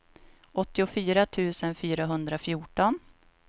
åttiofyra tusen fyrahundrafjorton